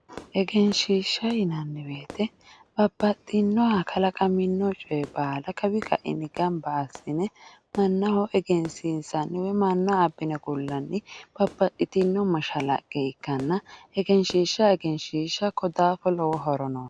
Egenshiishsha yinanni woyte babbaxxinoha kalaqamino coye baalla kawi kaini gamba assine mannaho egensiissani woyi manna abbine ku'lanni babbbaxxitino mashalaqqe ikkanna egenshiishsha ko daafo lowo horo noosi.